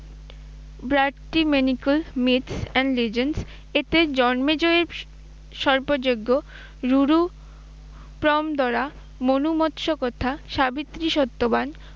and legends, এতে জন্মেজয়ের সর্পযজ্ঞ, মনুমৎস্য প্রথা, সাবিত্রী সত্যবান